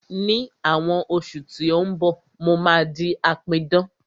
Ní àwọn oṣù tí ó ń bọ̀, mo máa di apidán